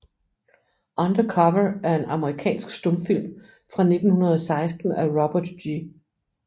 Under Cover er en amerikansk stumfilm fra 1916 af Robert G